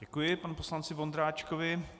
Děkuji panu poslanci Vondráčkovi.